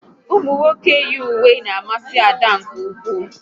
Ụmụnwoke yi uwe n'amasi Ada nke ụkwụ